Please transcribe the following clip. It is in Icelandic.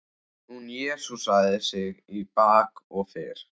Hún jesúsaði sig í bak og fyrir.